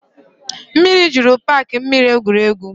Mmiri jụrụ paaki mmiri egwuregwu